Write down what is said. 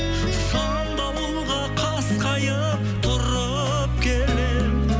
сан дауылға қасқайып тұрып келемін